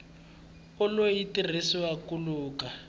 ulu yi tirhisiwa ku luka